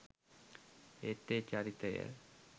ඒත් ඒ චරිතය